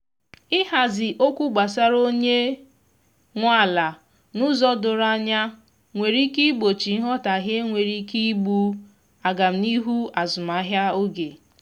ihazi okwu gbasara onye nwe ala n'ụzọ doro anya nwere ike igbochi nghotahie nwere ike igbú agam n'ihu azụmahịa oge